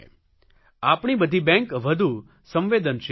આપણી બધી બેંક વધુ સંવેદનશીલ બને